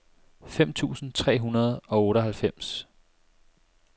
fem tusind tre hundrede og otteoghalvfems